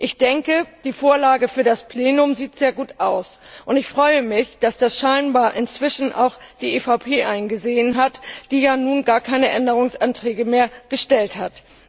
Ich denke, die Vorlage für das Plenum sieht sehr gut aus, und ich freue mich, dass das scheinbar inzwischen auch die EVP eingesehen hat, die nun gar keine Änderungsanträge mehr gestellt hat.